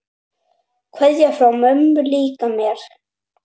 Kveðja frá mömmu líka mér.